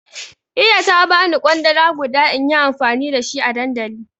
Iya ta bani kwandala guda inyi amfani da shi a dandali